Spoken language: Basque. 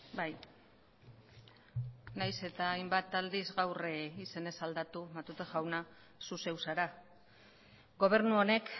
bai nahiz eta hainbat aldiz gaur izenez aldatu matute jauna zu zeu zara gobernu honek